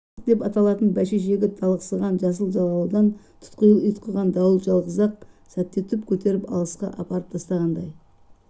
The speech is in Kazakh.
жастық деп аталатын бәйшешегі толықсыған жасыл жағалаудан тұтқиыл ұйтқыған дауыл жалғыз-ақ сәтте түп көтеріп алысқа апарып тастағандай